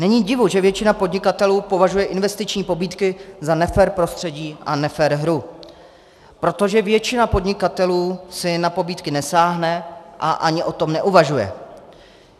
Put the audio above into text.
Není divu, že většina podnikatelů považuje investiční pobídky za nefér prostředí a nefér hru, protože většina podnikatelů si na pobídky nesáhne a ani o tom neuvažuje.